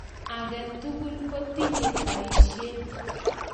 Agetul kotinye baishet